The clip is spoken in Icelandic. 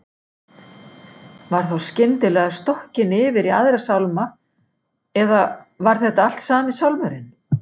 Var þá skyndilega stokkin yfir í aðra sálma, eða var þetta allt sami sálmurinn?